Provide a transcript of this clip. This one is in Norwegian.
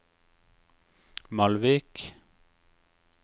Malvik